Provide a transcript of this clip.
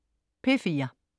P4: